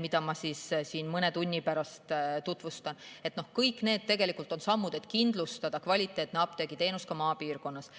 mida ma siin mõne tunni pärast tutvustan, on kõik sammud selleks, et kindlustada kvaliteetne apteegiteenus ka maapiirkonnas.